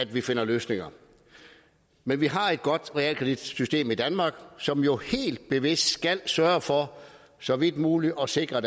vi finder løsninger men vi har et godt realkreditsystem i danmark som jo helt bevidst skal sørge for så vidt muligt at sikre